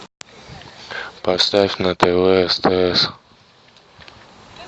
поставь на тв стс